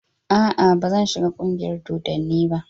Aa, bazan shiga ƙungiyar dodanni ba.